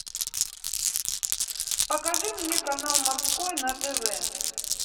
покажи мне канал морской на тв